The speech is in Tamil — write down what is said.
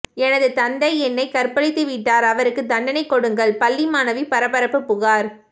எனது தந்தை என்னை கற்பழித்துவிட்டார் அவருக்கு தண்டனை கொடுங்கள் பள்ளி மாணவி பரபரப்பு புகார்